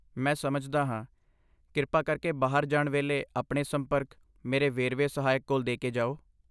ਮੈਂ ਸਮਝਦਾ ਹਾਂ। ਕਿਰਪਾ ਕਰਕੇ ਬਾਹਰ ਜਾਣ ਵੇਲੇ ਆਪਣੇ ਸੰਪਰਕ ਮੇਰੇ ਵੇਰਵੇ ਸਹਾਇਕ ਕੋਲ ਦੇ ਕੇ ਜਾਓ।